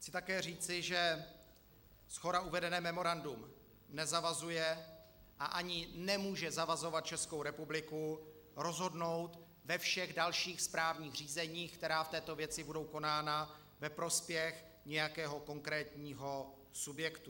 Chci také říci, že shora uvedené memorandum nezavazuje a ani nemůže zavazovat Českou republiku rozhodnout ve všech dalších správních řízeních, která v této věci budou konána, ve prospěch nějakého konkrétního subjektu.